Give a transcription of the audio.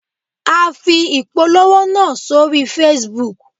A fi ìpolówó náà sórí Facebook